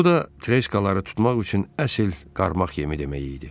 Bu da treşkaları tutmaq üçün əsl qarmax yemi demək idi.